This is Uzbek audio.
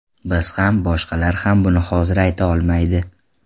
Biz ham, boshqalar ham buni hozir ayta olmaydi.